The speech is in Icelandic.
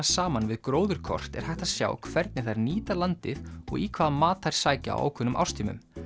saman við gróðurkort er hægt að sjá hvernig þær nýta landið og í hvaða mat þær sækja á ákveðnum árstímum